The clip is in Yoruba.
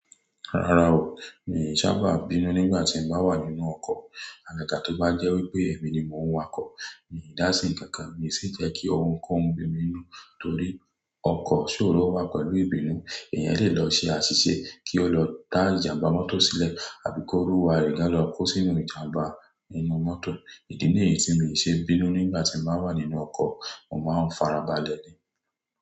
Rárá o, mi ò sábà bínú nígbà tí mo bá wà nínú ọkọ̀. Àgàgá tó bá jẹ́ wípé èmi ni mo ń wa ọkọ̀, mi ò dá sí ǹkankan, mi sì jẹ́ kí ohun kó ń bi mi n nù nítorí ọkọ̀ sóró wà pẹ̀lú ìbínú. Ẹ̀yan lè lọ ṣe àṣìṣe kí ó lọ dá ìjàmbá mọ́tò sílẹ̀ àbí kóluwa rẹ̀ gá lọ kó sínú ìjàmbá inú mọ́tò. Ìdí nìyí tí mi ò ṣe bínú nígbà tí mo bá wà nínú ọkọ̀, mo máa ń farabalẹ̀ ni.